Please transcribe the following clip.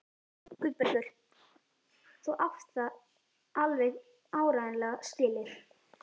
Guðbergur, þú átt það alveg áreiðanlega skilið.